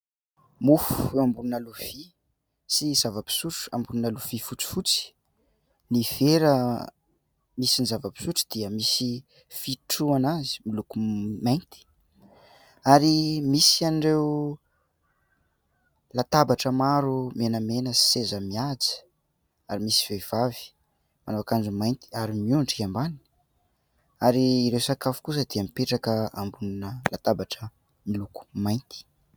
Mofo eo ambonina lovia sy zava-pisotro ambonina lovia fotsifotsy. Ny vera misy ny zava-pisotro dia misy fitrohana azy miloko mainty. Ary misy an'ireo latabatra maro menamena sy seza mihaja ; ary misy vehivavy manao akanjo mainty ary miondrika ambany. Ary ireo sakafo kosa dia mipetraka ambonina latabatra miloko mainty.